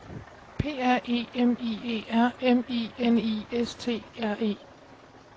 P R E M I E R M I N I S T R E